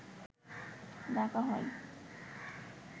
ডাকা হয়